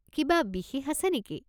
কিবা বিশেষ আছে নেকি?